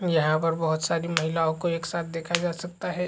यहाँ पर बहुत सारी महिलाओ को एक साथ देखा जा सकता है।